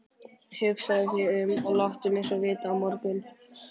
Hugsaðu þig um og láttu mig vita á morgun.